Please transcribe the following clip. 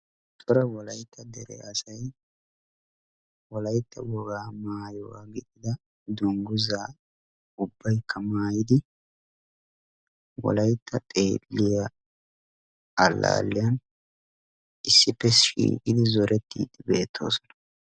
Cora wolaytta dere asay wolaytta wogaa maayuwa gidida dungguzza ubbaykka maayidi wolaytta xeeliya allaaliyan issippe shiiqqidi zorettiddi beettoosona.